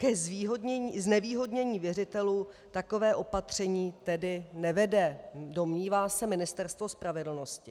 K znevýhodnění věřitelů takové opatření tedy nevede, domnívá se Ministerstvo spravedlnosti.